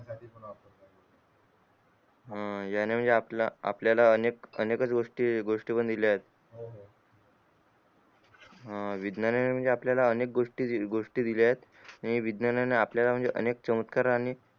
अं याने आपल्यला अनेक अनेक च गोष्टी बनवून दिलेल्या येत विज्ञाना ने आपल्यला अनेक च गोष्टी दिल्यात आणि विज्ञाने आपल्यला अनेक चमतकार आणि